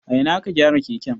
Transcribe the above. A ina aka gyara keken?